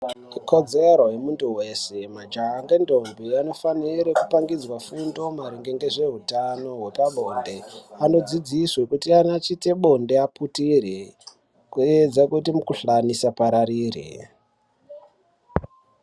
Ikodzero yemuntu weshe majaha ngendombi anofanire kupangidzwe fundo maringe ngezveutano wepa bonde anodzidziswe kuti kana achite bonde aputire kuedza kuti mukuhlani isapararire.